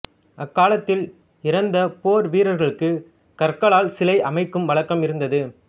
அக்காலத்தில் இறந்த போர் வீரர்களுக்கு கற்களால் சிலை அமைக்கும் வழக்கமும் இருந்தது